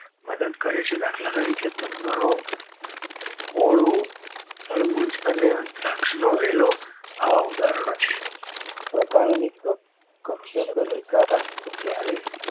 મદદ કરે છે દાખલા તરીકે કમરો કોળું તરબૂચ અને દ્રાક્ષ નો વેલો આવા ઉદાહરો છે પ્રકાંડ અને